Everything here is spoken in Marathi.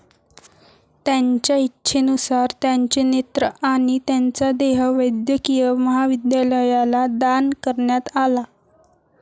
त्यांच्या इच्छेनुसार त्यांचे नेत्र आणि त्यांचा देह वैद्यकीय महाविद्यालयाला दान करण्यात आला.